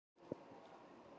hér og hér.